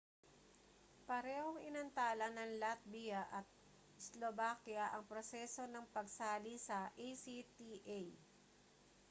parehong inantala ng latvia at slovakia ang proseso ng pagsali sa acta